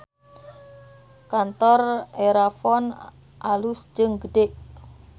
Kantor Erafon alus jeung gede